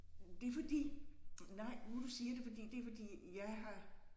Det er fordi nej nu du siger det fordi det er fordi jeg har